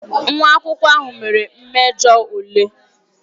Nwa akwụkwọ ahụ mere mmejọ ule